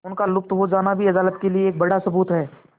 उनका लुप्त हो जाना भी अदालत के लिए एक बड़ा सबूत है